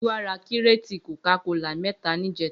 Giwa rà kiréti kókàkólá mẹ̀tá nijẹ̀tá